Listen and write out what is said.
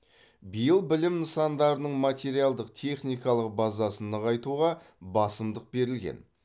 биыл білім нысандарының материалдық техникалық базасын нығайтуға басымдық берілген